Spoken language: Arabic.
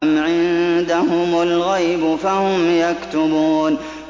أَمْ عِندَهُمُ الْغَيْبُ فَهُمْ يَكْتُبُونَ